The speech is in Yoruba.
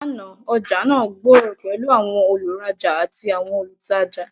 Làná, ọjà náà gbòòrò pẹ̀lú àwọn olùrajà àti àwọn olùtajà.